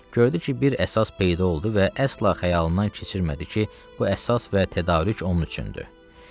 Gördü ki, bir əsas peyda oldu və əsla xəyalından keçirmədi ki, bu əsas və tədarük onun üçündür.